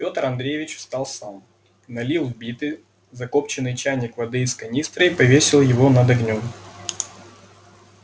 петр андреевич встал сам налил в битый закопчённый чайник воды из канистры и повесил его над огнём